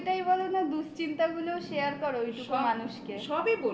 অনুভূতিটাই বলোনা দুশ্চিন্তা গুলো শেয়ার করো ওই টুকু মানুষকে